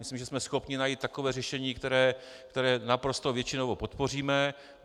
Myslím, že jsme schopni najít takové řešení, které naprostou většinou podpoříme.